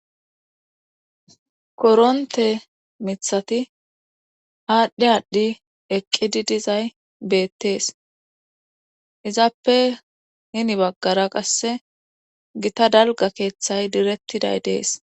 koronte mithati haadhdhi aadhdhi eqqidi dizay beettees izappe hini baggara qasse gita dalga keeththay direttiday dees